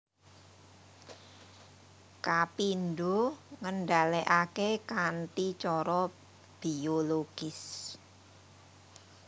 Kapindho ngendhalèkaké kanthi cara bologis